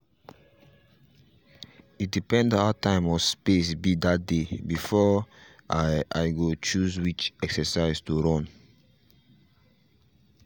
e depend how time or space be that day before i i go choose which exercise to run.